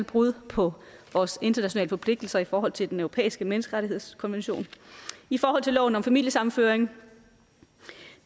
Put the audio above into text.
brud på vores internationale forpligtelser i forhold til den europæiske menneskerettighedskonvention i forhold til loven om familiesammenføring